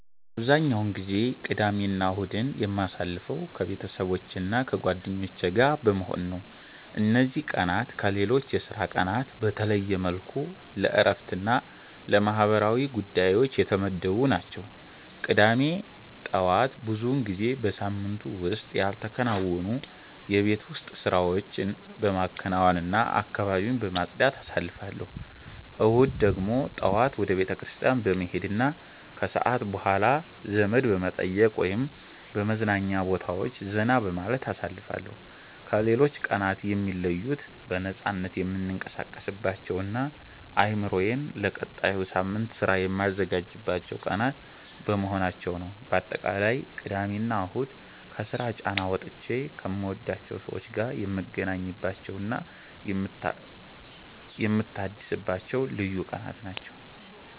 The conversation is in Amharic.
አብዛኛውን ጊዜ ቅዳሜና እሁድን የማሳልፈው ከቤተሰቦቼና ከጓደኞቼ ጋር በመሆን ነው። እነዚህ ቀናት ከሌሎች የሥራ ቀናት በተለየ መልኩ ለእረፍትና ለማህበራዊ ጉዳዮች የተመደቡ ናቸው። ቅዳሜ ጠዋት ብዙውን ጊዜ በሳምንቱ ውስጥ ያልተከናወኑ የቤት ውስጥ ስራዎችን በማከናወንና አካባቢን በማጽዳት አሳልፋለሁ። እሁድ ደግሞ ጠዋት ወደ ቤተክርስቲያን በመሄድና ከሰዓት በኋላ ዘመድ በመጠየቅ ወይም በመዝናኛ ቦታዎች ዘና በማለት አሳልፋለሁ። ከሌሎች ቀናት የሚለዩት በነፃነት የምንቀሳቀስባቸውና አእምሮዬን ለቀጣዩ ሳምንት ሥራ የማዘጋጅባቸው ቀናት በመሆናቸው ነው። ባጠቃላይ ቅዳሜና እሁድ ከስራ ጫና ወጥቼ ከምወዳቸው ሰዎች ጋር የምገናኝባቸውና የምታደስባቸው ልዩ ቀናት ናቸው።